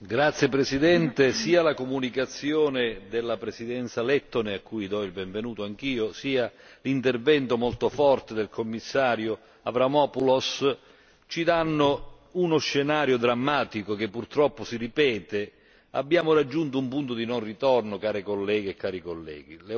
Signora Presidente, onorevoli colleghi, sia la comunicazione della Presidenza lettone a cui do il benvenuto anch'io sia l'intervento molto forte del Commissario Avramopoulos, ci danno uno scenario drammatico che purtroppo si ripete. Abbiamo raggiunto un punto di non ritorno, care colleghe e cari colleghi!